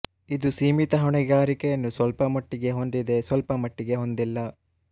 ಇದು ಸೀಮಿತ ಹೊಣೆಗಾರಿಕೆಯನ್ನು ಸ್ವಲ್ಪ ಮಟ್ಟಿಗೆ ಹೊಂದಿದೆ ಸ್ವಲ್ಪ ಮಟ್ಟಿಗೆ ಹೊಂದಿಲ್ಲ